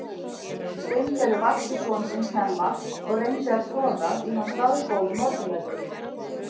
Steingerður vakti son sinn snemma og reyndi að troða í hann staðgóðum morgunverði.